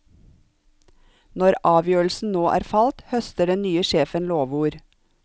Når avgjørelsen nå er falt, høster den nye sjefen lovord.